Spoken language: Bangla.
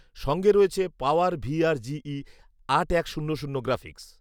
সঙ্গে রয়েছে পাওয়ার ভিআর জিই আট এক শূন্য শূন্য গ্রাফিক্স